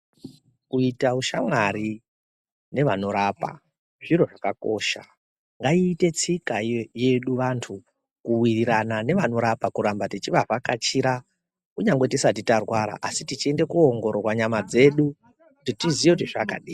Kuita ushamwari nevanorapa zviro zvakanaka, ngaiite tsika yedu vantu kuwirirana nevanorapa kuramba teivavhakachira kunyangwe tisati tarwara asi tichienda koongororwa nyama dzedu kuti tiziye kuti zvakadini.